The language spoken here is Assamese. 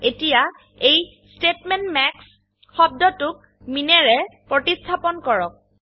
এতিয়া এই স্তেটমেন্ট মাস শব্দটোক মিন ৰে প্ৰতিস্থাপনকৰক